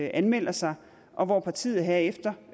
anmelder sig og hvor partiet herefter